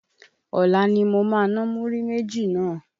Ọ̀la ni mo ma ná múrí méjì náà.